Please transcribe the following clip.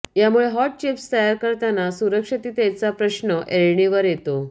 यामुळे hot chips तयार करताना सुरक्षिततेचा प्रश्न ऐरणीवर येतो